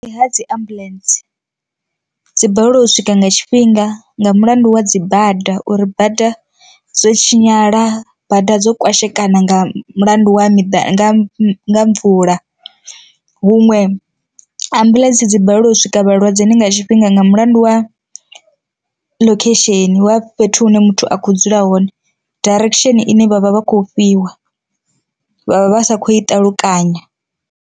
Ndi ha dzi ambuḽentse, dzi balelwa u swika nga tshifhinga nga mulandu wa dzi bada uri bada dzo tshinyala bada dzo kwashekana nga mulandu wa miḓi nga mvula, huṅwe ambuḽentse dzi balelwa uswika vhalwadzeni nga tshifhinga nga mulandu wa ḽokhesheni wa fhethu hune muthu a kho dzula hone, direction ine vhavha vha khou fhiwa vha vha vha sa khou i ṱalukanya.